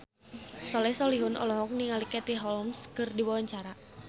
Soleh Solihun olohok ningali Katie Holmes keur diwawancara